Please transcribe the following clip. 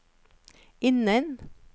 innen